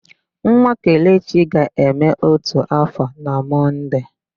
Nwa Kelechi ga-eme ótù áfọ̀ na Mọnde.